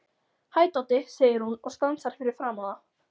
Hæ, Doddi, segir hún og stansar fyrir framan þá.